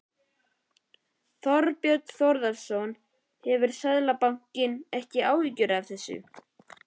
Þorbjörn Þórðarson: Hefur Seðlabankinn ekki áhyggjur af þessu?